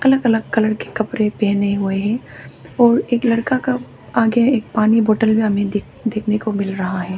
अलग अलग कलर के कपड़े पहने हुए हैं और एक लड़का का आगे एक पानी बॉटल भी हमें देखने को मिल रहा है।